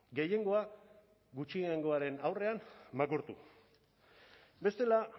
gehiengoa gutxiengoaren aurrean makurtu bestela